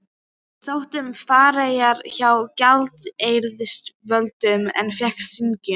Ég sótti um farareyri hjá gjaldeyrisyfirvöldum en fékk synjun.